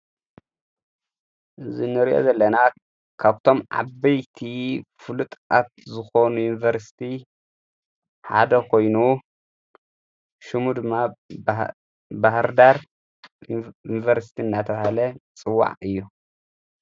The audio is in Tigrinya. እዝ ንርኦ ዘለና ካብቶም ዓበይቲ ፍሉጥ ኣፍ ዝኾኑ ዩንበርስቲ ሓደ ኾይኑ ሹሙ ድማ በህርዳር ይንበርስቲ እናተሃለ ጽዋዕ እዩ።